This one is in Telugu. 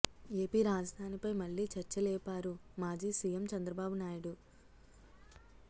ఏపీ రాజధానిపై మళ్లీ చర్చలేపారు మాజీ సీఎం చంద్రబాబు నాయుడు